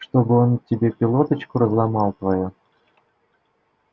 чтобы он тебе пилоточку разломал твою